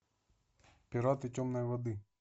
пираты темной воды